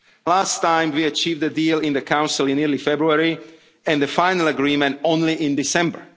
very late. Last time we achieved a deal in the Council in early February and the final agreement only